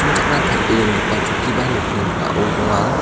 tarie dongipa chokkiba nokni ning·ao donga.